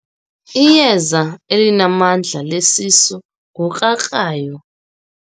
Iyeza elinamandla lesisu ngukrakrayo.